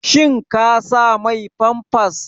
Kin sa mai famfas?